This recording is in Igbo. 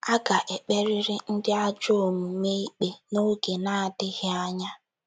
AGA - EKPERỊRỊ ndị ajọ omume ikpe n’oge na - adịghị anya.